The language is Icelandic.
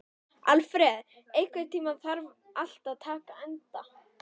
Alfreð, einhvern tímann þarf allt að taka enda.